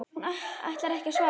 Hún ætlar ekki að svara.